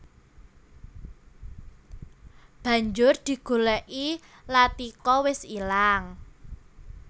Banjur digolèki Latika wis ilang